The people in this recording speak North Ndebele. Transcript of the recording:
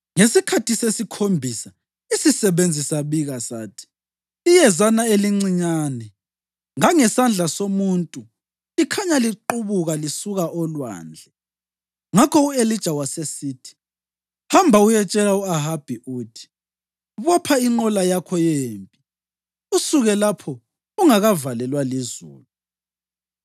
Ngesikhathi sesikhombisa isisebenzi sabika sathi, “Iyezana elincinyane ngangesandla somuntu likhanya liqubuka lisuka olwandle.” Ngakho u-Elija wasesithi, “Hamba uyetshela u-Ahabi uthi, ‘Bopha inqola yakho yempi usuke lapho ungakavalelwa lizulu.’ ”